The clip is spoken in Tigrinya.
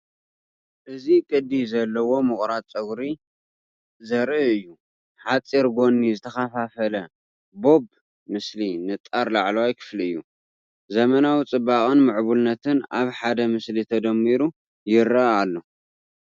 እዚ ቅዲ ዘለዎ ምቑራጽ ጸጉሪ ዘርኢ እዩ። ሓጺር ጎኒ ዝተኸፋፈለ ቦብ ምስ ንጣር ላዕለዋይ ክፋል እዩ። ዘመናዊ ጽባቐን ምዕቡልነትን ኣብ ሓደ ምስሊ ተደሚሩ ይረአ ኣሎ።